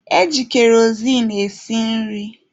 Eji kerozin esi nri.